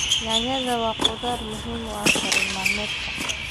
Yaanyada waa khudrad muhiim u ah karin maalmeedka.